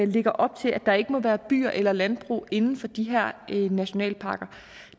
lægger op til at der ikke må være byer eller landbrug inden for de her nationalparker